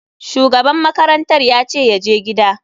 Shugaban makarantar yace yaje gida.